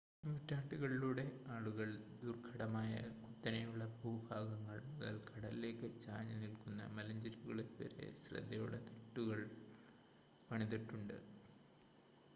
നൂറ്റാണ്ടുകളിലൂടെ ആളുകൾ ദുർഘടമായ കുത്തനെയുള്ള ഭൂഭാഗങ്ങൾ മുതൽ കടലിലേക്ക് ചാഞ്ഞ് നിൽക്കുന്ന മലഞ്ചെരിവുകളിൽ വരെ ശ്രദ്ധയോടെ തിട്ടുകൾ പണിതിട്ടുണ്ട്